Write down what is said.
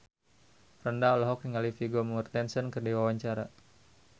Franda olohok ningali Vigo Mortensen keur diwawancara